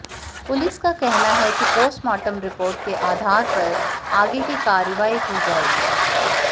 police का कहना है कि पोस्टमार्टम रिपोर्ट के अाधार पर आगे की कार्रवाई की जाएगी